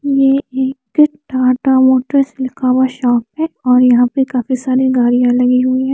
ये एक टाटा ऑफिस लिखा हुआ शॉप है और यहाँ पे काफी सारी लोहे लगे हुए है।